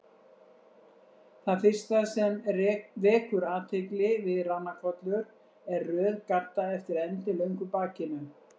Það fyrsta sem vekur athygli við ranakollur er röð gadda eftir endilöngu bakinu.